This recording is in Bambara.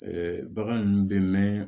bagan ninnu bɛ mɛn